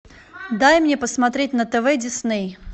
дай мне посмотреть на тв дисней